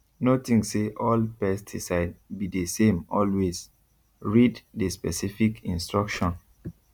no think say all pesticide be the samealways read the specific instruction